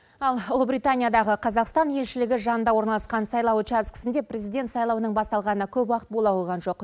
ал ұлыбританиядағы қазақстан елшілігі жанында орналасқан сайлау учаскісінде президент сайлауының басталғанына көп уақыт бола қойған жоқ